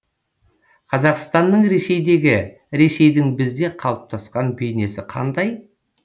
қазақстанның ресейдегі ресейдің бізде қалыптасқан бейнесі қандай